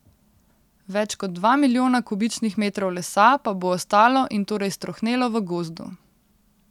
Več kot dva milijona kubičnih metrov lesa pa bo ostalo in torej strohnelo v gozdu.